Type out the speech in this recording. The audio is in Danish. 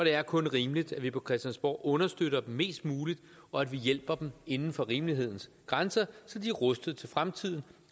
er kun rimeligt at vi på christiansborg understøtter dem mest muligt og at vi hjælper dem inden for rimelighedens grænser så de er rustet til fremtiden